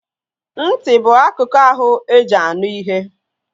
Ntị bụ akụkụ ahụ eji anụ